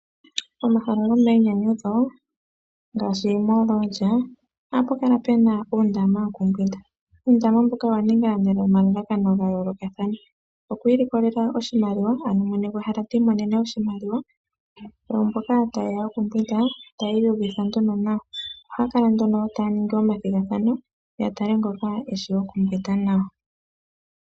Pomahala gominyanyudho ngaashi mooloolya ohamu kala mu na uundama wokumbwinda. Uundama mbuka owa ningwa nomalalakano ga yoolokathana; oku ilikolela oshimaliwa ano mwene gwehala ti imonene oshimaliwa, oomboka taye ya okumbwinda taya iyuvitha nduno nawa. Ohaya kala nduno taya ningi omathigathano, ya tale ngoka eshi okumbwinda nawa.